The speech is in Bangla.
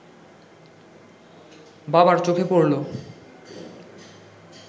বাবার চোখে পড়ল